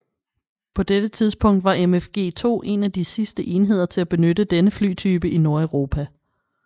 På dette tidspunkt var MFG2 en af de sidste enheder til at benytte denne flytype i Nordeuropa